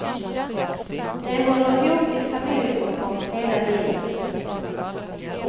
De håller ihop i familjegrupper hela livet.